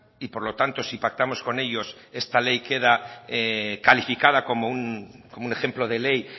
y por lo tanto si pactamos con ellos esta ley queda calificada como un ejemplo de ley